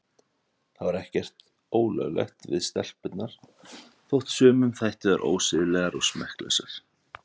Það var ekkert ólöglegt við stelpurnar þótt sumum þættu þær ósiðlegar og smekklausar.